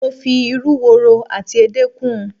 Mo fi ìrú wòrò ati ède kún